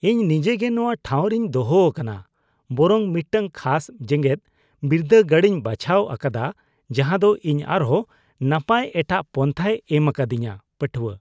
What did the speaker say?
ᱤᱧ ᱱᱤᱡᱮᱜᱮ ᱱᱚᱶᱟ ᱴᱷᱟᱣ ᱨᱮᱧ ᱫᱚᱦᱚ ᱟᱠᱟᱱᱟ ᱵᱚᱨᱚᱝ ᱢᱤᱫᱴᱟᱝ ᱠᱷᱟᱥ ᱡᱮᱜᱮᱫ ᱵᱤᱨᱫᱟᱹᱜᱟᱲᱤᱧ ᱵᱟᱪᱷᱟᱣ ᱟᱠᱟᱫᱟ ᱡᱟᱦᱟ ᱫᱚ ᱤᱧ ᱟᱨᱦᱚᱸ ᱱᱟᱯᱟᱭ ᱮᱴᱟᱜ ᱯᱟᱱᱛᱷᱟᱭ ᱮᱢ ᱟᱠᱟᱫᱤᱧᱟ (ᱯᱟᱹᱴᱷᱩᱣᱟᱹ) ᱾